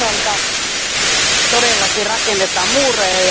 Toisaalta todellakin rakennetaan muureja.